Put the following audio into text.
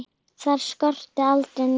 Þar skorti aldrei neitt.